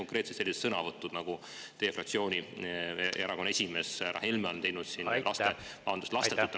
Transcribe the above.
Näiteks need sõnavõtud, mida teie fraktsiooni ja erakonna esimees härra Helme on siin teinud: lastetud naised on …